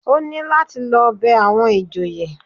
Ó ní láti lọ bẹ àwọn ìjòyè